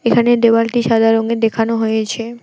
এখানে দেয়ালটি সাদা রঙের দেখানো হয়েছে।